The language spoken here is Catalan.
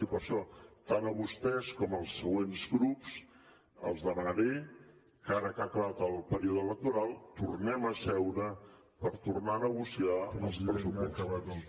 i per això tant a vostès com als següents grups els demanaré que ara que ha acabat el període electoral tornem a seure per tornar a negociar els pressupostos